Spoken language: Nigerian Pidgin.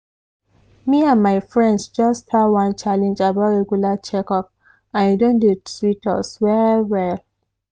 me and my friends just start one challenge about regular checkup and e don dey sweet us well well.